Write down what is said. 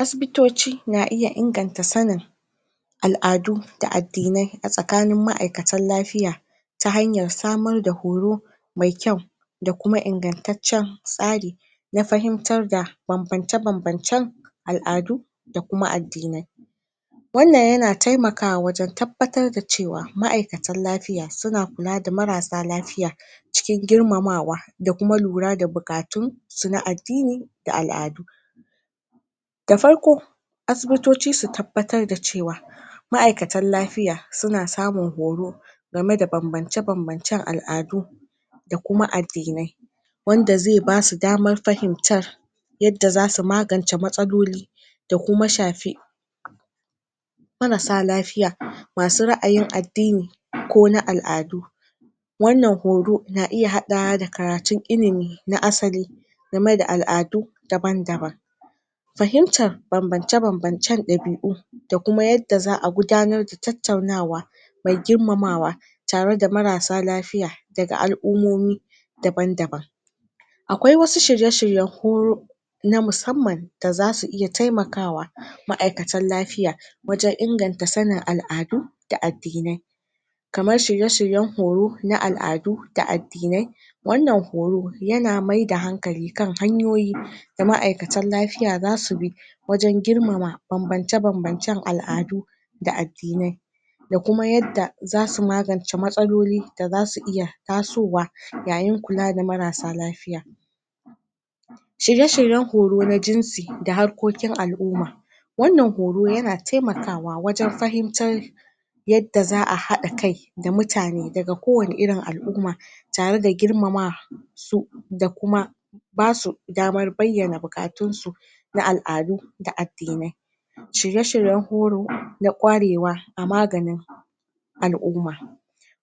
asibitoci na iya inganta sanin al'adu da addinai a tsakanin ma'aikatan lafiya ta hanyar samar da horo mai kyau da kuma ingantatcan tsari na fahimtar da banbance banbancan al'adu da kuma addinai wannan yana taimakawa wajan tabbatar da cewa ma'aikatan lafiya suna kula da marasa lafiya cikin girmamawa da kuma lura da buƙatunsu na addini da al'adu da farko asibitoci su tabbatar da cewa ma'aikatan lafiya suna samun horo game da banbance banbancan al'adu da kuma addinai wanda zai basu damar fahimtar yadda zasu magance matsaloli da kuma shafi marasa lafiya masu ra'ayin addini ko na al'adu wannan horo na iya haɗawa da karatun ilimi na asali game da al'adu daban daban fahimtar banbance banbancan ɗabi'u da kuma yadda za a gudanar da tattaunawa me girmamawa tare da marasa lafiya daga al'ummomi daban daban aƙwai wasu shirye shiryan hu na musamman da zasu iya taimakawa ma'aikatan lafiya wajan inganta sanin al'adu da addinai kamar shirye shiryan horo na al'adu da addinai wannan horo yana maida hankali kan hanyoyi da ma'aikatan lafiya zasubi wajan girmama banbance banbancan al'adu da addinai da kuma yadda zasu magance matsaloli da zasu iya tasowa yayin kula da marasa lafiya shirye shiryan horo na jinsi da harkoƙin al'umma wannan horo yana taimakawa wajan fahimtar yadda za a haɗa kai da mutane daga ko wanne irin al'umma tare da girmama su da kuma basu damar bayyana buƙatunsu na al'adu da addinai shirye shiryan horo na ƙwarewa a maganin al'umma